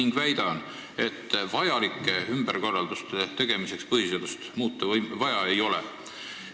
Ma väidan, et vajalike ümberkorralduste tegemiseks põhiseadust muuta vaja ei ole.